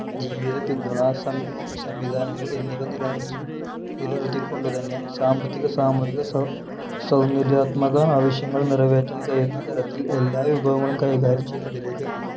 ജീവിത പിന്തുണാ സംവി സംവിധാനങ്ങൾ എന്നിവ നിലനിർത്തു നിലനിർത്തിക്കൊണ്ടുതന്നെ സാമ്പത്തിക സാമൂഹിക സൗ സൗന്ദര്യാത്മക ആവശ്യങ്ങൾ നിറവേറ്റാൻ കഴിയുന്ന തരത്തിൽ എല്ലാ വിഭവങ്ങളും കൈകാര്യം ചെയ്യുന്നതിലേക്ക്